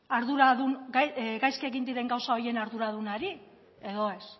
gaizki egin diren gauza horien arduradunari edo ez